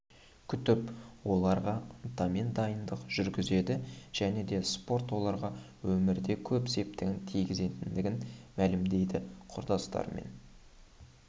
күтіп оларға ынтамен дайындық жүргізеді және де спорт оларға өмірде көп септігін тигізетінін мәлімдейді құрдастармен